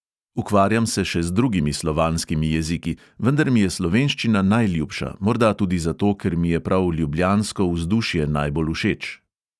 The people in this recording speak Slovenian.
Ukvarjam se še z drugimi slovanskimi jeziki, vendar mi je slovenščina najljubša, morda tudi zato, ker mi je prav ljubljansko vzdušje najbolj všeč.